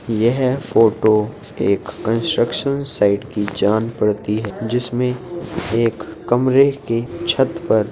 यह फ़ोटो एक construction site की जान पड़ती है। जिसमे एक कमरे की छत पर --